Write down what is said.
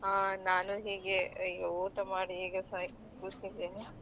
ಹಾ ನಾನು ಹೀಗೆ ಈಗ ಊಟ ಮಾಡಿ ಹೀಗೆ ಸ~ ಕೂತಿದ್ದೇನೆ .